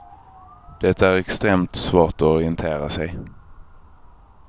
Det är extremt svårt att orientera sig.